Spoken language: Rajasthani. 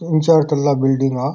तीन चार तरला बिल्डिंग है आ।